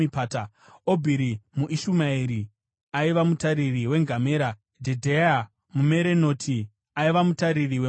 Obhiri muIshumaeri aiva mutariri wengamera. Jedheya muMeronoti aiva mutariri wembongoro.